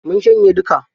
Mun shanye duka.